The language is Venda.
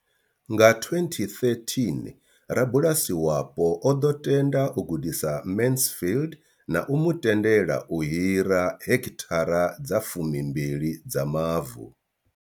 Nga 2013, rabulasi wapo o ḓo tenda u gudisa Mansfield na u mu tendela u hira heki thara dza 12 dza mavu.